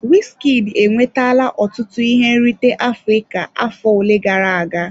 Wizkid enwetala ọtụtụ ihe nrite Afrịka afọ ole gara aga.